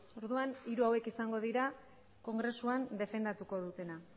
orduan hiru hauek izango dira kongresuan defendatuko dutena